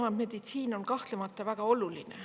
Erameditsiin on kahtlemata väga oluline.